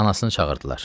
Anasını çağırdılar.